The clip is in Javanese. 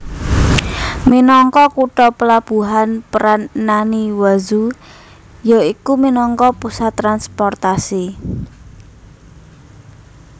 Minangka kutha pelabuhan peran Naniwazu ya iku minangka pusat transportasi